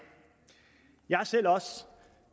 jeg har selv